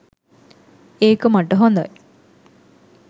ඒක මට හොඳයි.